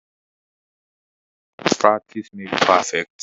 Practice makes perfect.